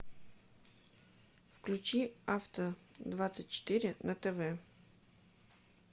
включи авто двадцать четыре на тв